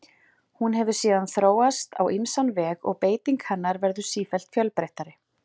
hún hefur síðan þróast á ýmsan veg og beiting hennar verður sífellt fjölbreyttari